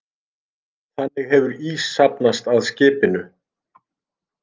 Þannig hefur ís safnast að skipinu